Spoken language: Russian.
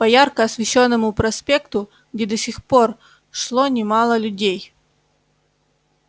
по ярко освещённому проспекту где до сих пор шло немало людей